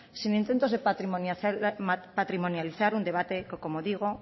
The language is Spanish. sin intentos de patrimonializar un debate que como digo